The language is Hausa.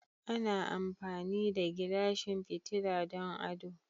Ana amfani da Gilashin fitila don ado.